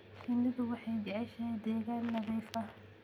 Shinnidu waxay jeceshahay deegaan nadiif ah.